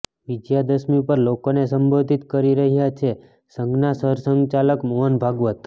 વિજયાદશમી પર લોકોને સંબોધિત કરી રહ્યા છે સંઘના સરસંઘચાલક મોહન ભાગવત